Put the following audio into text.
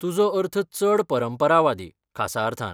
तुजो अर्थ चड परंपरावादी, खासा अर्थान?